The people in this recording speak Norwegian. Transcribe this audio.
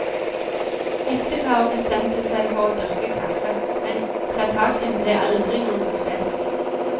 Ekteparet bestemte seg for å dyrke kaffe, men plantasjen ble aldri noen suksess.